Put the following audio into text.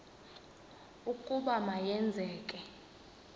ukuba ma yenzeke